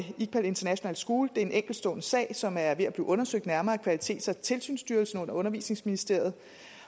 iqbal international school er en enkeltstående sag som er ved at blive undersøgt nærmere af kvalitets og tilsynsstyrelsen under undervisningsministeriet